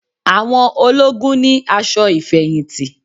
Àwọn ológun ni aṣọ ìfẹ̀yìntì